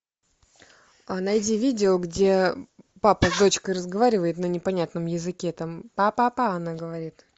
найди видео где папа с дочкой разговаривает на непонятном языке там па па па она говорит